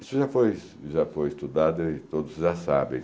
Isso já foi já foi estudado e todos já sabem.